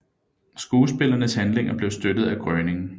Skuespillernes handlinger blev støttet af Groening